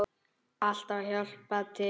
Alltaf að hjálpa til.